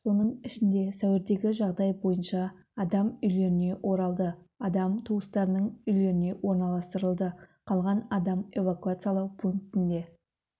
соның ішінде сәуірдегі жағдай бойынша адам үйлеріне оралды адам туыстарының үйлеріне орналастырылды қалған адам эвакуациялау пунктінде